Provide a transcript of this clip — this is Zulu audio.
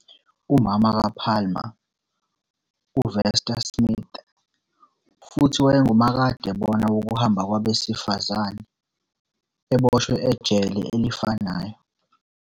Umama ka Palmer, uVester Smith, futhi wayengumakadebona wokuhamba kwabesifazane, eboshwe ejele elifanayo.